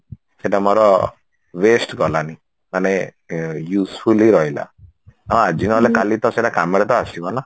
ସେଟା ମୋର waste ଗଲାନି ମାନେ useful ହେଇ ରହିଲା ହଁ ଆଜି ନହେଲେ କାଲି ତ ସେଇଟା କାମରେ ତ ଆସିବ ନା